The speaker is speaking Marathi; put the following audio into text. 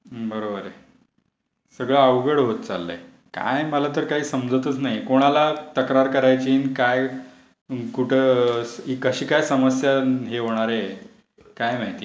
हं बरोबर आहे. सगळ्या अवघड होत चाललाय. काय मला तर काही समजतच नाही. कोणाला तक्रार करायची अन काय कुठे कशी काय समस्या हे होणार आहे, काय माहिती.